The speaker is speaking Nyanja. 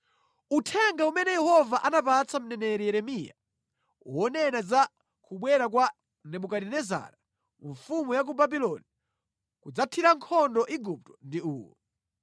Uthenga umene Yehova anapatsa mneneri Yeremiya wonena za kubwera kwa Nebukadinezara mfumu ya ku Babuloni kudzathira nkhondo Igupto ndi uwu: